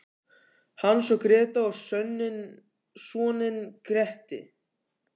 Hans og Grétu og soninn Gretti.